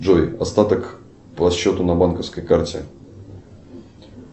джой остаток по счету на банковской карте